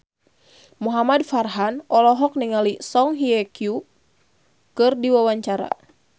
Muhamad Farhan olohok ningali Song Hye Kyo keur diwawancara